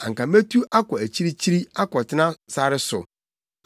anka metu akɔ akyirikyiri akɔtena sare so;